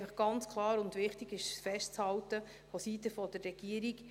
Es ist wichtig und vonseiten der Regierung ganz klar festzuhalten: